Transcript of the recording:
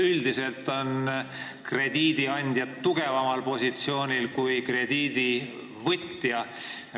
Üldiselt on krediidiandjad tugevamal positsioonil kui krediidivõtjad.